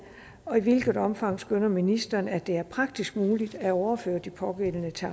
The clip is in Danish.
og i hvilket omfang skønner ministeren at det er praktisk muligt at overføre de pågældende til